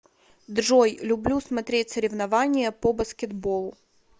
джой люблю смотреть соревнования по баскетболу